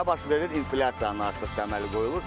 Nə baş verir, inflyasiyanın artığı əmələ gəlir.